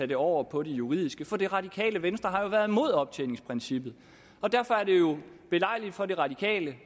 det over på det juridiske for det radikale venstre har jo været imod optjeningsprincippet og derfor er det jo belejligt for de radikale